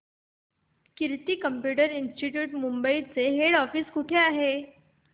कीर्ती computer institute Mumbai चे head office कुठे आहे